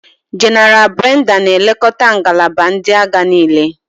Jéneral Brenda na-elekọta ngalaba ndị agha niile.